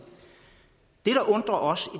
det der undrer os